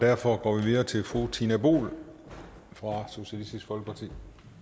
derfor går vi videre til fru tina boel fra socialistisk folkeparti